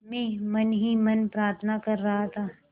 मैं मन ही मन प्रार्थना कर रहा था